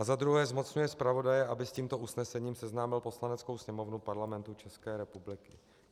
Za druhé zmocňuje zpravodaje, aby s tímto usnesením seznámil Poslaneckou sněmovnu Parlamentu České republiky.